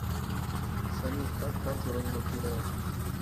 салют как карту разблокировать